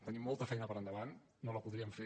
tenim molta feina per endavant no la podríem fer